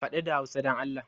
Faɗi da Hausa don Allah!